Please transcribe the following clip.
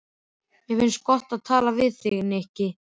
Mér finnst gott að tala við þig, Nikki.